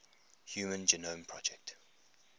human genome project